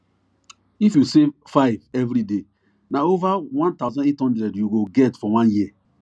if you save 5 everyday na over 1800 you go get for one year